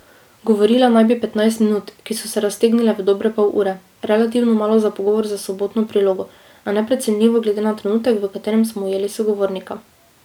Govorila naj bi petnajst minut, ki so se raztegnile v dobre pol ure, relativno malo za pogovor za Sobotno prilogo, a neprecenljivo glede na trenutek, v katerem smo ujeli sogovornika.